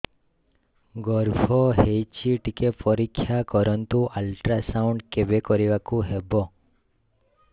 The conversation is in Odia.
ଗର୍ଭ ହେଇଚି ଟିକେ ପରିକ୍ଷା କରନ୍ତୁ ଅଲଟ୍ରାସାଉଣ୍ଡ କେବେ କରିବାକୁ ହବ